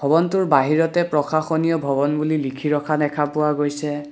ভৱনটোৰ বাহিৰতে প্ৰশাসনীয় ভৱন বুলি লিখি ৰখা দেখা পোৱা গৈছে।